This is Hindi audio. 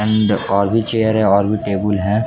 हैंड और भी चेयर है और भी टेबुल है।